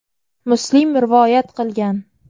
Muslim rivoyat qilgan.